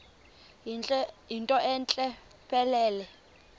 yinto entle mpelele